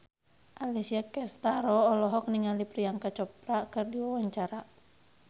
Alessia Cestaro olohok ningali Priyanka Chopra keur diwawancara